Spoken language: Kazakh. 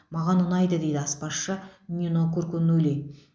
маған ұнайды дейді аспазшы нино куркунули